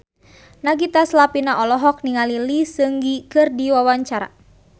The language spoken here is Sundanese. Nagita Slavina olohok ningali Lee Seung Gi keur diwawancara